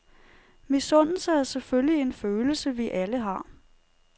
Misundelse er selvfølgelig en følelse, vi alle har.